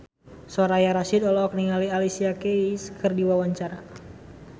Soraya Rasyid olohok ningali Alicia Keys keur diwawancara